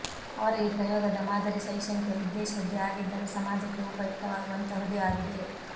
ಅವರ ಈ ಪ್ರಯೋಗದ ಮಾದರಿ ಶೈಕ್ಷಣಿಕ ಉದ್ದೇಶದ್ದೇ ಆಗಿದ್ದರೂ ಸಮಾಜಕ್ಕೆ ಉಪಯುಕ್ತವಾಗುವಂತಹುದೇ ಆಗಿದೆ